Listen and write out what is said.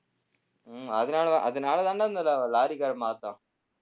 உம் அதனாலதான் அதனாலதான்டா அந்த லாரிக்காரன்